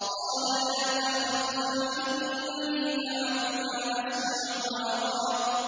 قَالَ لَا تَخَافَا ۖ إِنَّنِي مَعَكُمَا أَسْمَعُ وَأَرَىٰ